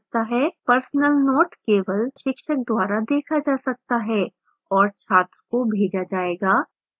personal note केवल शिक्षक द्वारा देखा जा सकता है और छात्र को भेजा जायेगा